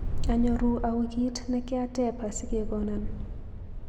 Anyoru au kiit nekyatep asigegonon